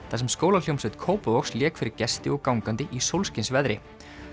þar sem skólahljómsveit Kópavogs lék fyrir gesti og gangandi í sólskinsveðri